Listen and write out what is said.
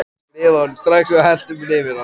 Ég skrifaði honum strax og hellti mér yfir hann.